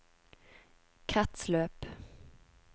kretsløp